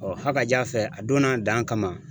Ɔɔ hakaja fɛ a donna a dan kama.